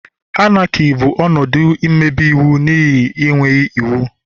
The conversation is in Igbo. Anarchy bụ ọnọdụ mmebi iwu n'ihi enweghị iwu.